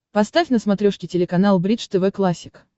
поставь на смотрешке телеканал бридж тв классик